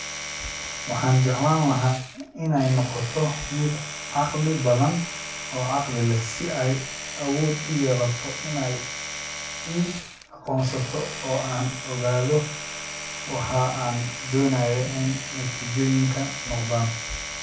Waxaan jeclaan lahaa inay noqoto mid caqli badan oo caqli leh si ay awood u yeelato inay i aqoonsato oo aan ogaado waxa aan doonayo in natiijooyinku noqdaan